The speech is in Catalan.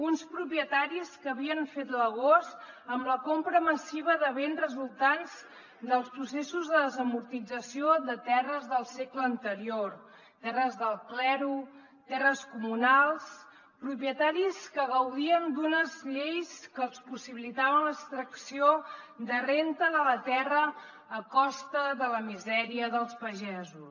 uns propietaris que havien fet l’agost amb la compra massiva de béns resultants dels processos de desamortització de terres del segle anterior terres del clero terres comunals propietaris que gaudien d’unes lleis que els possibilitaven l’extracció de renda de la terra a costa de la misèria dels pagesos